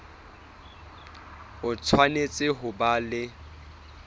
o tshwanetse ho ba le